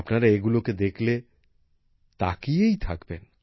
আপনারা এগুলোকে দেখলে তাকিয়েই থাকবেন